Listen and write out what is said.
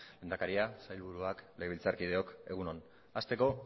lehendakaria sailburuak legebiltzarkideok egun on hasteko